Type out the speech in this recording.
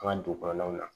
An ka dugu kɔnɔnaw la